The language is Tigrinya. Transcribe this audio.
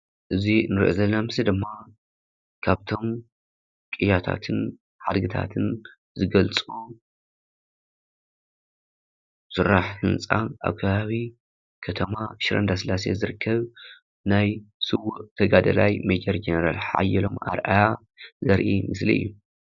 እዚ እንሪኦ ዘለና ምስሊ ደሞ ካብቶም ቅያታትን ሓይልታትን ዝገልፁ ስራሕ ምንፃፍ ኣብ ከባቢ ከተማ ሽረ እንዳስላሴ ዝርከብ ናይ ስውእ ተጋዳላይ ሜጀር ጄኔራል ሓዬሎም ኣርኣያ ዘርኢ ምስሊ እዩ ።